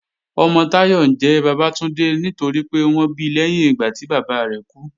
Ọmọ Táyọ̀ ńjẹ́ Bàbátúndé nítorípé wọ́n bi lẹ́yìn ìgbà tí bàbá rẹ̀ kú